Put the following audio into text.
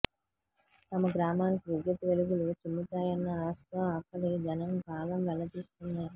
తమ గ్రామానికి విద్యుత్ వెలుగులు చిమ్ముతాయన్న ఆశతో అక్కడి జనం కాలం వెళ్లదీస్తున్నారు